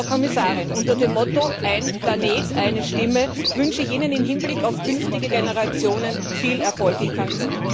Frau Kommissarin, unter dem Motto Ein Planet, eine Stimme wünsche ich Ihnen im Hinblick auf künftige Generationen viel Erfolg in Cancún.